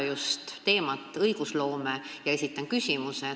Kasutan ära õigusloome teemat ja esitan küsimuse.